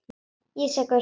Ég er sekur.